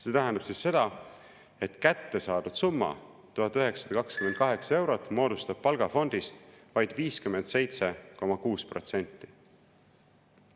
See tähendab seda, et kätte saadud summa, 1928 eurot, moodustab palgafondist vaid 57,6%.